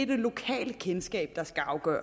det lokale kendskab